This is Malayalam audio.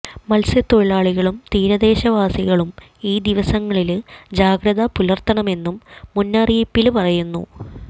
മത്സ്യത്തൊഴിലാളികളും തീരദേശവാസികളും ഈ ദിവസങ്ങളില് ജാഗ്രത പുലര്ത്തണമെന്നും മുന്നറിയിപ്പില് പറയുന്നു